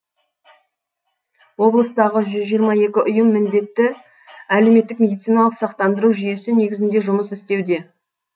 облыстағы жүз жиырма екі ұйым міндетті әлеуметтік медициналық сақтандыру жүйесі негізінде жұмыс істеуде